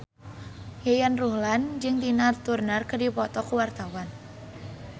Yayan Ruhlan jeung Tina Turner keur dipoto ku wartawan